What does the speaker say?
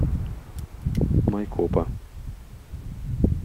майкопа